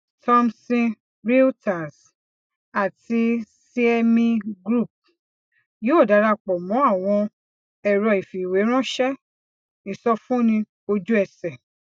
thomson reuters àti cme group yóò darapọ mọ àwọn ẹrọìfìwéránṣẹ ìsọfúnni ojú ẹsẹ